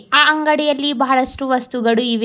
ಅ ಅಂಗಡಿಯಲ್ಲಿ ಬಹಳಷ್ಟು ವಸ್ತುಗಳು ಇವೆ.